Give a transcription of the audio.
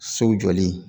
So jɔli